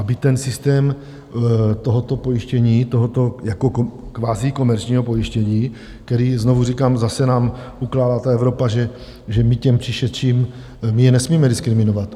Aby ten systém tohoto pojištění, tohoto jako kvazi komerčního pojištění, které - znovu říkám - zase nám ukládá ta Evropa, že my těm přišedším, my je nesmíme diskriminovat.